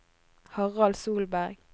Harald Solberg